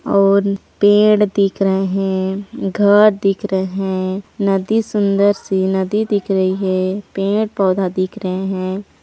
और पेड़ दिख रहे है घर दिख रहे हैं नदी सुंदर सी नदी दिख रही है पेड़-पौधा दिख रहे है।